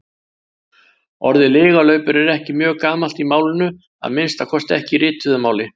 Orðið lygalaupur er ekki mjög gamalt í málinu, að minnsta kosti ekki í rituðu máli.